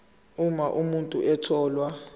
uma umuntu etholwe